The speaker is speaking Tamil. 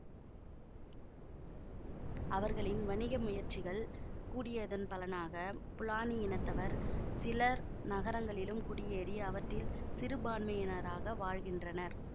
அவர்களின் வணிக முயற்சிகள் கூடியதன் பலனாக ஃபுலானி இனத்தவர் சிலர் நகரங்களிலும் குடியேறி அவற்றில் சிறுபான்மையினராக வாழ்கின்றனர்